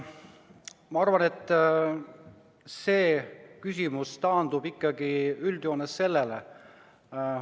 Ma arvan, et see küsimus taandub üldjoontes järgmisele.